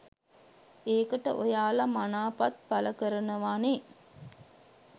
ඒකට ඔයාල මනාපත් පලකරනවනෙ